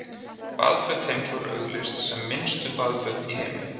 baðföt heims voru auglýst sem „minnstu baðföt í heimi“